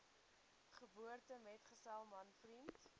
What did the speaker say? geboortemetgesel man vriend